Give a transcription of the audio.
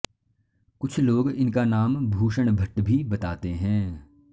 कुछ लोग इनका नाम भूषण भट्ट भी बताते हैं